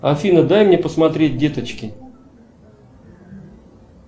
афина дай мне посмотреть деточки